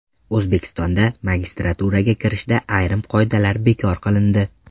O‘zbekistonda magistraturaga kirishda ayrim qoidalar bekor qilindi.